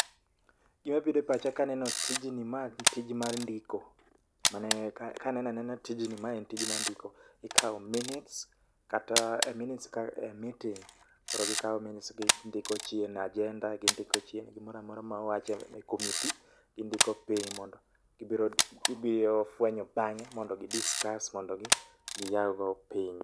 Gima bire pacha kaneno tijni ma tij mar ndiko, mane ka kanena nena tijni ma en tij mar ndiko. Ikawo minutes kata e minutes ka e meeting. Koro gikawo minutes gindiko chien, ajenda gimdiko chien, gimoramora ma owache e komiti, gindiko piny. Mondo gibiro fwenyo bang'e mondo gi discuss mondo giyaw go piny.